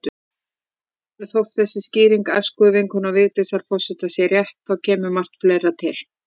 Þótt þessi skýring æskuvinkonu Vigdísar forseta sé rétt, þá kemur margt fleira til.